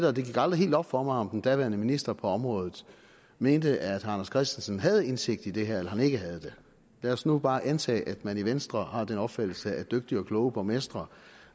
og det gik aldrig helt op for mig om den daværende minister på området mente at anders christensen havde indsigt i det her eller mente han ikke havde det lad os nu bare antage at man i venstre har den opfattelse at dygtige og kloge borgmestre